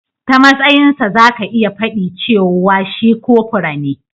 Ta matsayin sa zaka iya fadi cewa shi kopura ne.